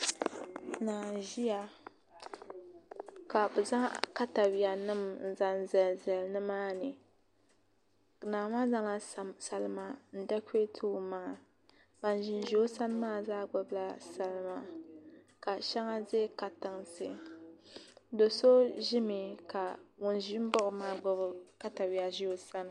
Naa n ʒiya ka bi zaŋ katawiya nim n zaŋ zali zali nimaani naa maa zaŋla salima n dɛkurɛti o maŋa ban ʒi o sani maa zaa gbubila salima ka shɛŋa ʒi katinsi do so ʒimi ka ŋun ʒi baɣa o maa gbubi katawiya baɣa o sani